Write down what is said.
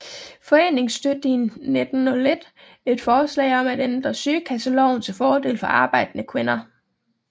Foreningen støttede i 1901 et forslag om at ændre sygekasseloven til fordel for arbejdende kvinder